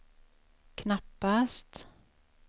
knappast